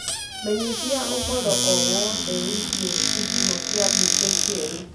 menyithiaũhoro o wothe wigie gicigo kia bũnge kieru